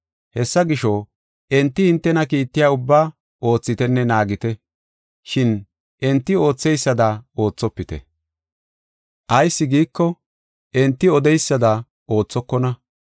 Hessa gisho, enti hintena kiittiya ubbaa oothitenne naagite. Shin enti ootheysada oothopite. Ayis giiko, enti odeysada oothokona.